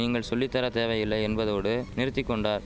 நீங்கள் சொல்லித்தர தேவையில்லை என்பதோடு நிறுத்தி கொண்டார்